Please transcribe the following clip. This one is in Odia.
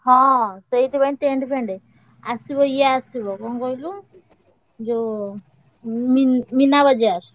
ହଁ ସେଇଥିପାଇଁ tent ଫେଣ୍ଟ। ଆସିବ ଇଏ ଆସିବ କଣ କହିଲୁ ଯୋଉ, ମି~ ମିନାବଜାର।